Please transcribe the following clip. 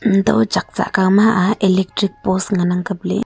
untoh chak tsah kawma a electric post ngan ang kapley.